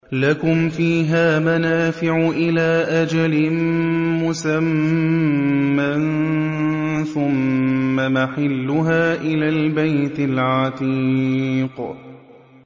لَكُمْ فِيهَا مَنَافِعُ إِلَىٰ أَجَلٍ مُّسَمًّى ثُمَّ مَحِلُّهَا إِلَى الْبَيْتِ الْعَتِيقِ